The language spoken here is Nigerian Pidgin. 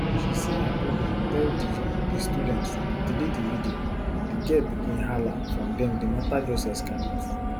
she say her brother tell di di student to delete di video di girl begin hala from den di mata just escalate